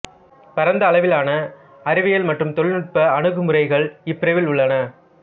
பரந்த அளவிலான அறிவியல் மற்றும் தொழில்நுட்ப அணுகுமுறைகள் இப்பிரிவில் உள்ளன